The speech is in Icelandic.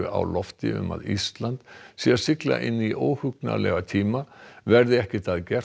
á lofti um að Ísland sé að sigla inn í óhugnanlega tíma verði ekkert að gert